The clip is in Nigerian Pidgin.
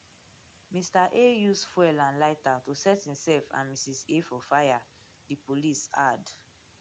mr a use fuel and lighter to set imself and mrs a for fire di police add